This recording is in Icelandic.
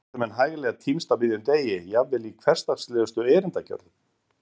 Þar geta menn hæglega týnst á miðjum degi, jafnvel í hversdagslegustu erindagjörðum.